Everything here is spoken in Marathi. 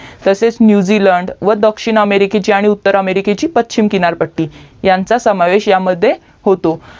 तसेच न्यूजलंड व दक्षिण अमेरिकेची व उत्तर अमेरिकेची पच्चीम किनारपट्टी यांचा समावेश या मध्ये होतो